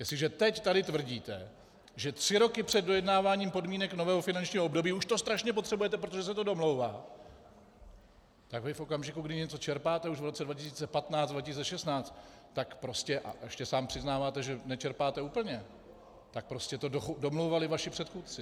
Jestliže teď tady tvrdíte, že tři roky před dojednáváním podmínek nového finančního období už to strašně potřebujete, protože se to domlouvá, tak vy v okamžiku, kdy něco čerpáte už v roce 2015, 2016, tak prostě... a ještě sám přiznáváte, že nečerpáte úplně, tak prostě to domlouvali vaši předchůdci.